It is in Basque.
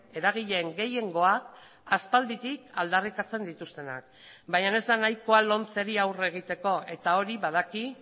eragileen gehiengoa aspalditik aldarrikatzen dituztenak baina ez da nahikoa lomceri aurre egiteko eta hori badaki